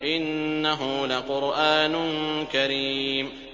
إِنَّهُ لَقُرْآنٌ كَرِيمٌ